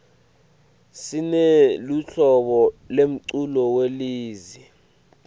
sineluhlobo lemculo welezi